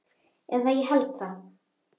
Eða ég held það.